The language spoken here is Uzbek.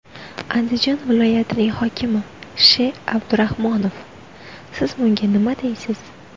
Andijon viloyatining hokimi Sh.Abdurahmonov, siz bunga nima deysiz?